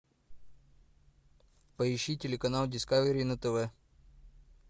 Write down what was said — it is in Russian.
поищи телеканал дискавери на тв